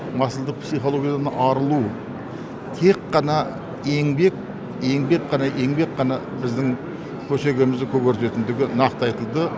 масылдық психологиядан арылу тек қана еңбек еңбек қана еңбек қана біздің көсегемізді көгертетіндігі нақты айтылды